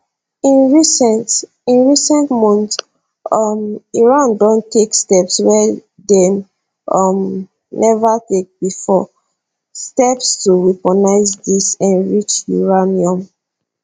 in recent in recent months um iran don take steps wey dem um neva take bifor steps to weaponise dis enriched uranium